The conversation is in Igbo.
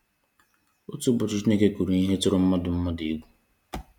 Otu ụbọchị Chineke kwuru ihe tụrụ mmadụ mmadụ egwu